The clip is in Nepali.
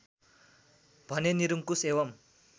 भने निरङ्कुश एवम्